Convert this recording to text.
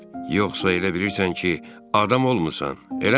yoxsa elə bilirsən ki, adam olmusan, eləmi?